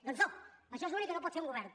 doncs no això és l’únic que no pot fer un govern